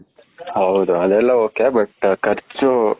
ಹೌದು ಅದು ಎಲ್ಲ ok but , ಕರ್ಚು .,